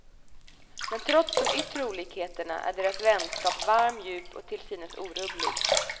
Men trots de yttre olikheterna är deras vänskap varm, djup och till synes orubblig.